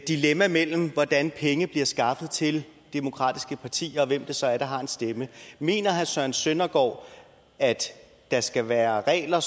dilemma mellem hvordan penge bliver skaffet til demokratiske partier og hvem det så er der har en stemme mener herre søren søndergaard at der skal være regler